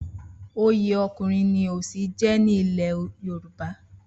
Oyè Ọkùnrin ni Òsì jẹ́ ní ilẹ̀ Yorùbá.